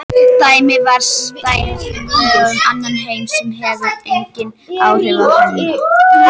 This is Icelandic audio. Dæmi væru staðhæfingar um annan heim sem hefur engin áhrif á þennan.